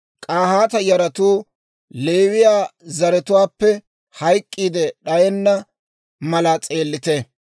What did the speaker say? «K'ahaata yaratuu Leewiyaa zaratuwaappe hayk'k'iide d'ayenna mala s'eellite.